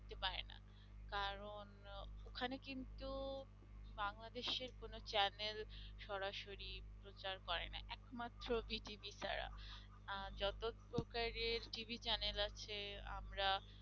ওখানে কিন্তু বাংলাদেশের কোন channel সরাসরি প্রচার করে না একমাত্র Z TV ছাড়া আহ যত প্রকারের TV channel আছে আমরা